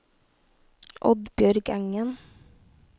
Oddbjørg Engen